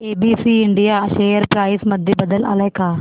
ABC India share price मध्ये बदल आलाय का